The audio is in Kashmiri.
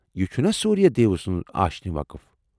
یہ چُھنا سوٗریہ دیو سُنٛد آشِنہِ وقف ؟